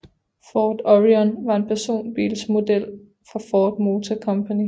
Ford Orion var en personbilsmodel fra Ford Motor Company